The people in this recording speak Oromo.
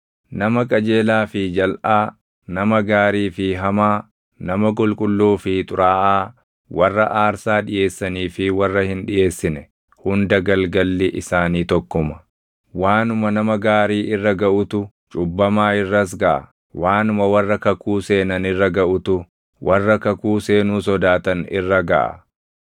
Nama qajeelaa fi jalʼaa, nama gaarii fi hamaa, nama qulqulluu fi xuraaʼaa, warra aarsaa dhiʼeessanii fi warra hin dhiʼeessine hunda galgalli isaanii tokkuma. Waanuma nama gaarii irra gaʼutu, cubbammaa irras gaʼa; waanuma warra kakuu seenan irra gaʼutu, warri kakuu seenuu sodaatan irra gaʼa.